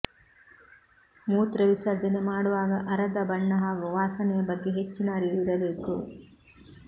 ಮೂತ್ರ ವಿಸರ್ಜನೆ ಮಾಡುವಾಗ ಅರದ ಬಣ್ಣ ಹಾಗೂ ವಾಸನೆಯ ಬಗ್ಗೆ ಹೆಚ್ಚಿನ ಅರಿವು ಇರಬೇಕು